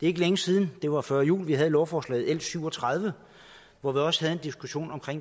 ikke længe siden det var før jul at vi havde lovforslaget l syv og tredive hvor vi også havde en diskussion om